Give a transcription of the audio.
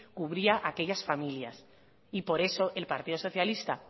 cubría aquellas familias y por eso el partido socialista